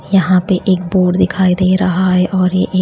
यहां पे एक बोर्ड दिखाई दे रहा है और ये--